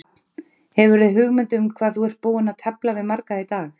Hrafn, hefurðu hugmynd um hvað þú ert búinn að tefla við marga í dag?